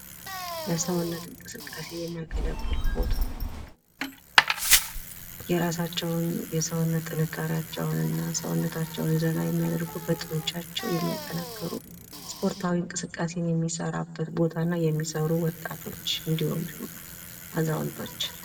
ለሰውነት እንቅስቃሴ የሚያገለግል ቦታ የራሳቸውን የሰውነት ጥንካሬያቸውን እና ሰውነታቸውን ዘና የሚያደርጉበት ጡንቻቸውን የሚያጠነክሩ ስፖርታዊ እንቅስቃሴን የሚሰራበት ቦታ እና የሚሰሩ ወጣቶች እንድሁም አዛውንቶች።